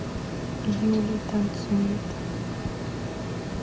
юлий танцует